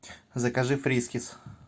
закажи фрискис